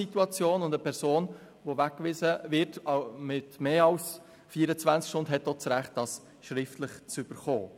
Eine Person, die länger als 48 Stunden weggewiesen wird, hat auch das Recht, dies schriftlich zu bekommen.